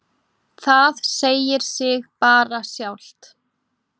Það segir sig bara sjálft.